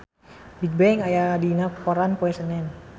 Bigbang aya dina koran poe Senen